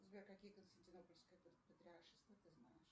сбер какие константинопольские патриаршества ты знаешь